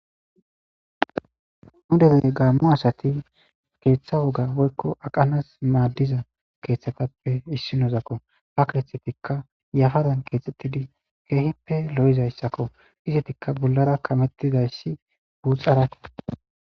nudele gaammo asati keeththa woga woykko aqanas maaddiza keeththatappe issinozakko ha keethetikka yafadan keexxettidi keehippe lo7izayssakko izetikka bollara kamettidayssi guuxarake